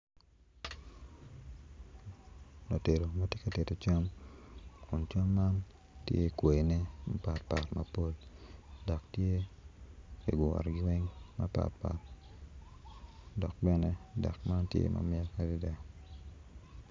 Latedo ma tye ka tedo cam kun cam man tye kwayine mapatpat mapol dok tye kiyro mapatpat dok bene delk man tye mamit.